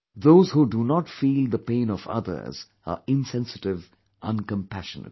Those who do not feel the pain of others are insensitive, uncompassionate